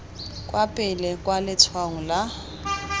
kwa pele kwa letshwaong la